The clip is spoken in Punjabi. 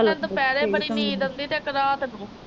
ਇਹਨਾ ਨੂੰ ਦੁਪਰੇ ਬੜੀ ਨੀਂਦ ਆਉਂਦੀ। ਤੇ ਇਕ ਰਾਤ ਨੂੰ